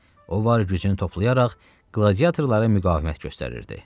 O var gücünü toplayaraq qladiatorlara müqavimət göstərirdi.